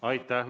Aitäh!